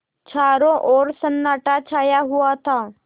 चारों ओर सन्नाटा छाया हुआ था